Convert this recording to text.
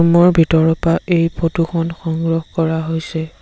Room ৰ ভিতৰৰ পৰা এই ফটো খন সংগ্ৰহ কৰা হৈছে।